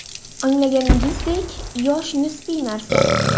Anglaganingizdek, yosh nisbiy narsa.